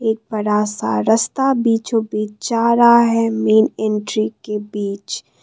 एक बड़ा सा रस्ता बीचो बीच जा रहा है मेन एंट्री के बीच।